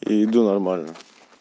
и иду нормально